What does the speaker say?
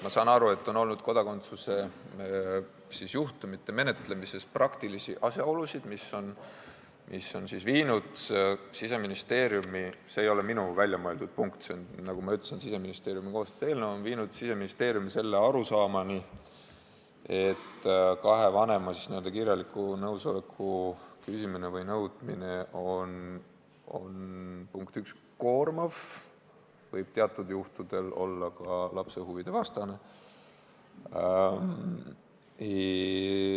Ma saan aru, et kodakondsuse juhtumite menetlemisel on ette tulnud praktilisi asjaolusid, mis on viinud Siseministeeriumi – see ei ole minu väljamõeldud punkt, vaid see on, nagu ma ütlesin, Siseministeeriumi koostatud eelnõu – selle arusaamani, et kahelt vanemalt n-ö kirjaliku nõusoleku küsimine või nõudmine on, punkt üks, koormav ja võib teatud juhtudel olla ka lapse huvide vastane.